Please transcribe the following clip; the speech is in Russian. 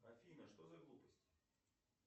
афина что за глупость